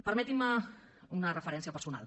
permetin me una referència personal